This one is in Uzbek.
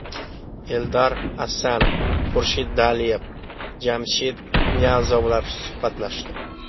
Eldar Asanov, Xurshid Daliyev, Jamshid Niyozovlar suhbatlashdi.